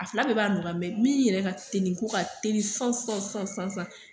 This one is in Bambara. A fila bɛɛ b'a nɔgɔya min yɛrɛ ka teli k'o ka teli sisan sisan sisan sisan.